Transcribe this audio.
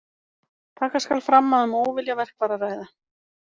Taka skal fram að um óviljaverk var að ræða.